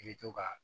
I bɛ to ka